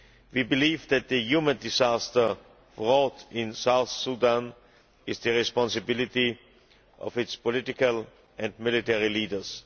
We believe that the human disaster wrought in South Sudan is the responsibility of its political and military leaders.